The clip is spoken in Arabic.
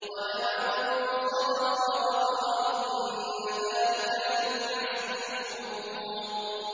وَلَمَن صَبَرَ وَغَفَرَ إِنَّ ذَٰلِكَ لَمِنْ عَزْمِ الْأُمُورِ